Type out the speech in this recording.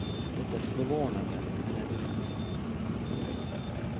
Det är förvånande, men ändå inte.